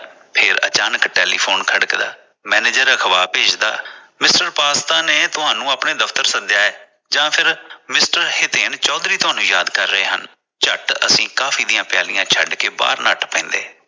ਫਿਰ ਅਚਾਨਕ telephone ਖੜਕਦਾ manager ਭੇਜਦਾ Mrpasta ਨੇ ਤੁਹਾਨੂੰ ਆਪਣੇ ਦਫਤਰ ਸੱਦਿਆ ਹੈ ਜਾਂ ਫਿਰ Mr ਚੌਧਰੀ ਤਾਹਨੂੰ ਯਾਦ ਕਰਦੇ ਹਨ ਝੱਟ ਅਸੀਂ ਕਾਫੀ ਦੀਆਂ ਪਿਆਲੀਆਂ ਛੱਡ ਕੇ ਬਾਹਰ ਨੱਠ ਪੈੰਦੇ।